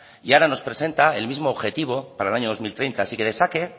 y ahora nos presenta el mismo objetivo para el año dos mil treinta así que de saque